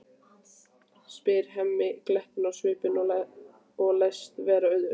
spyr Hemmi glettinn á svip og læst vera undrandi.